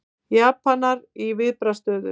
Japanar í viðbragðsstöðu